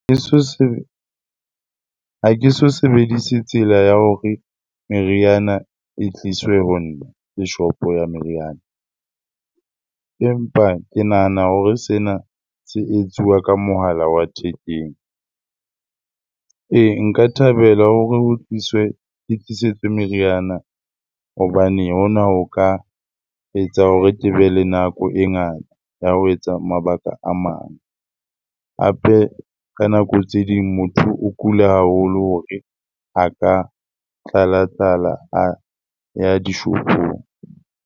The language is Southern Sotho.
Ha ke so ha ke so sebedise tsela ya hore meriana e tliswe ho nna ke shopo ya meriana. Empa ke nahana hore sena se etsuwa ka mohala wa thekeng. Ee, nka thabela hore ho tliswe, ke tlisetswe meriana hobane hona ho ka etsa hore kebe le nako e ngata ya ho etsa mabaka a mang. Hape, ka nako tse ding motho o kule haholo hore a ka tlalatlala a ya dishopong.